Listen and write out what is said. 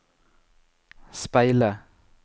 speile